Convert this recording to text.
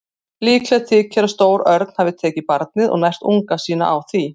Líklegt þykir að stór örn hafi tekið barnið og nært unga sína á því.